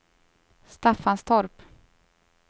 Staffanstorp